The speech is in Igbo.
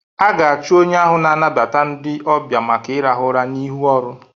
A ga-achụ onye ahụ na-anabata ndị ọbịa maka ịrahụ ụra n'ihu ọrụ.